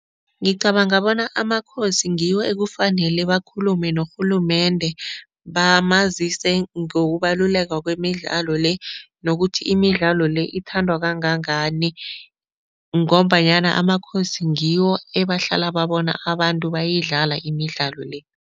Ngicabanga bona amakhosi ngiwo ekufanele bakhulume norhulumende, bamazise ngokubaluleka kwemidlalo le nokuthi imidlalo le ithandwa kangangani ngombanyana amakhosi ngiwo ebahlala babona abantu bayidlala imidlalo le.